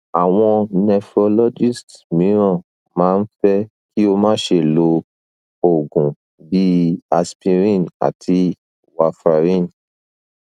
awon nephrologists miran ma n fe ki o ma se lo oogun bi aspirin and warfarin